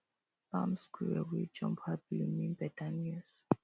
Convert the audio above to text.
palm squirrel wey jump happily mean better news